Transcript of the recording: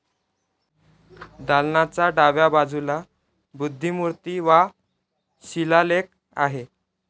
दालनाच्या डाव्या बाजूला बुद्धमूर्ती वा शिलालेख आहे.